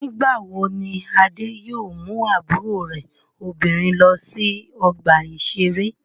Nígbà wo ni Adé yóò mú àbúrò rẹ̀ obìnrin lọ sí ọgbà-ìṣeré?